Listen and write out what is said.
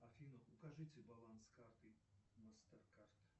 афина укажите баланс карты мастер кард